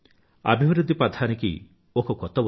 అభివృధ్ధి పథానికి ఒక కొత్త ఉదయం